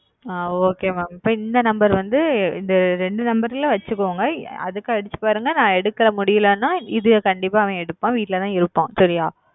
அ okay mam இந்த number வந்து ரெண்டு number ல வச்சுகோங்க அதுக்கு அடிச்சு பாருங்க நான் எடுக்க முடிலேனா இது கண்டிப்பா அவன் எடுப்பான் வீட்டுல தான் இருப்பான் சரியா?